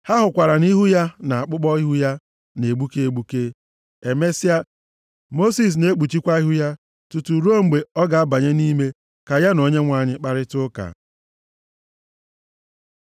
Ha hụkwara na ihu ya na akpụkpọ ihu ya na-egbuke egbuke. Emesịa, Mosis na-ekpuchikwa ihu ya tutu ruo mgbe ọ ga-abanye nʼime ka ya na Onyenwe anyị kparịta ụka.